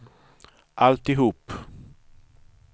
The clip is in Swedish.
alltihop